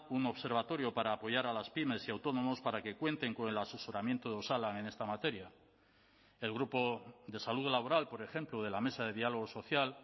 un observatorio para apoyar a las pymes y autónomos para que cuenten con el asesoramiento de osalan en esta materia el grupo de salud laboral por ejemplo de la mesa de diálogo social